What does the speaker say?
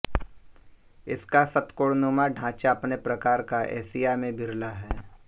इसका षट्कोणनुमा ढाँचा अपने प्रकार का एशिया में विरला है